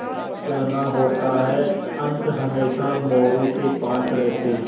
घर जाना होता अंक हमेशा मोरू के पास रहते